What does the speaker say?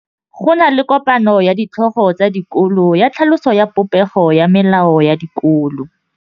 Go na le kopanô ya ditlhogo tsa dikolo ya tlhaloso ya popêgô ya melao ya dikolo.